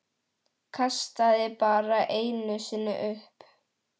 Kastaði bara einu sinni upp.